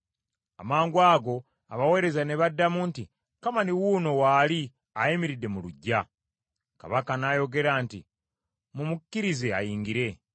Amangwago abaweereza ne baddamu nti, “Kamani wuuno waali ayimiridde mu luggya.” Kabaka n’ayogera nti, “Mumukkirize ayingire.”